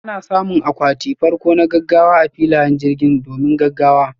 Ana samun akwati farko na gaggawa a filayen jirgin, domin gaggawa.